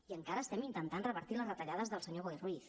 i encara estem intentant revertir les retallades del senyor boi ruiz